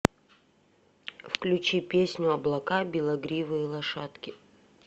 включи песню облака белогривые лошадки